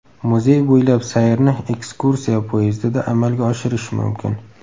Muzey bo‘ylab sayrni ekskursiya poyezdida amalga oshirish mumkin.